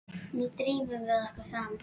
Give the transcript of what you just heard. Nú drífum við okkur fram!